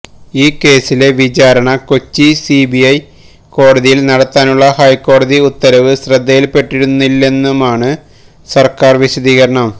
ഈ കേസിലെ വിചാരണ കൊച്ചി സിബിഐ കോടതിയില് നടത്താനുള്ള ഹൈക്കോടതി ഉത്തരവ് ശ്രദ്ധയില്പ്പെട്ടിരുന്നില്ലെന്നുമാണ് സര്ക്കാര് വിശദീകരണം